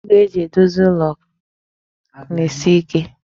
Igwe e ji edozi ụlọ na-esi ike.